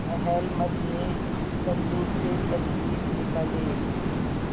अहलमद ने संदूक से तजबीज निकाली